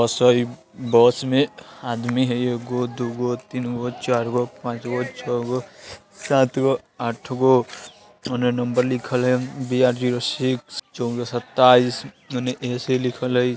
बस में आदमी हई एगो दु गो तीन गो चार गो पांच गो छौ गो सात गो आठ गो ओने नंबर लिखल हई बी आर जीरो स्किस चौबीस सताईश ओने ए.सी. लिखल हई।